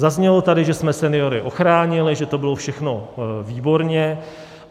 Zaznělo tady, že jsme seniory ochránili, že to bylo všechno výborně.